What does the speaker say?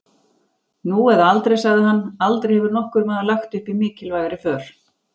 Nú eða aldrei, sagði hann, aldrei hefur nokkur maður lagt upp í mikilvægari för.